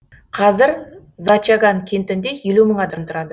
қазір зачаган кентінде елу мың адам тұрады